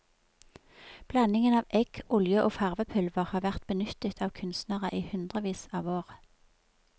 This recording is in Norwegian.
Blandingen av egg, olje og farvepulver har vært benyttet av kunstnere i hundrevis av år.